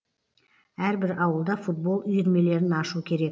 әрбір ауылда футбол үйірмелерін ашу керек